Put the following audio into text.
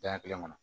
Daɲɛ kelen kɔnɔ